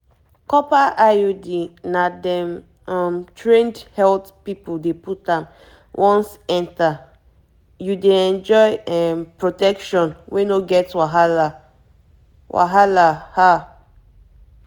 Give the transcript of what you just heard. copper iud na dem um trained health people dey put am once enter you dey enjoy um protection wey no get wahala wahala